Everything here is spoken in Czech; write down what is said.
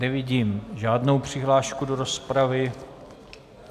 Nevidím žádnou přihlášku do rozpravy.